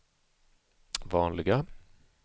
vanliga